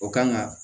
O kan ka